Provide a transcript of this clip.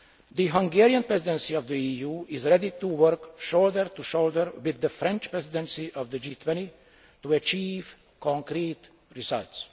year. The Hungarian Presidency of the EU is ready to work shoulder to shoulder with the French Presidency of the G20 to achieve concrete results.